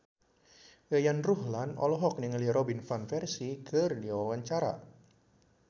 Yayan Ruhlan olohok ningali Robin Van Persie keur diwawancara